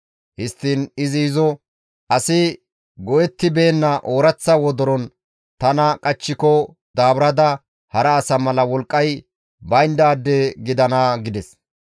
Histtiin izi izo, «Asi go7ettibeenna ooraththa wodoron tana qachchiko daaburada hara asa mala wolqqay bayndaade gidana» gides.